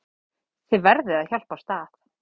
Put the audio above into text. Þið verðið að hjálpast að.